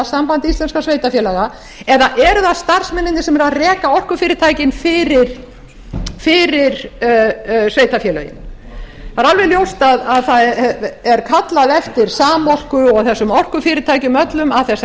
samband íslenskra sveitarfélaga eða eru það starfsmennirnir sem eru að reka orkufyrirtækin fyrir sveitarfélögin það er alveg ljóst að það er kallað eftir samorku og þessum orkufyrirtækjum öllum að þessari